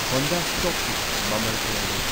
Honda ꯁ꯭ꯇꯣꯛꯀꯤ ꯃꯃꯜ ꯀꯌꯥ ꯂꯩ꯫